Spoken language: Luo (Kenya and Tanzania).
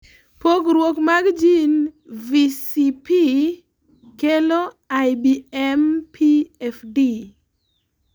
pogruok mag jin VCP kelo IBMPFD